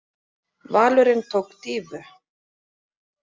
Valurinn tók dýfu.